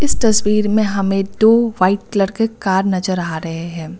तस्वीर में हमे दो वाइट कलर के कार नजर आ रहे हैं।